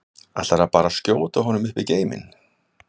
Ætlarðu bara að skjóta honum upp í geiminn?